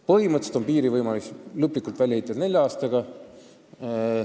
Põhimõtteliselt on võimalik piir lõplikult välja ehitada nelja aastaga.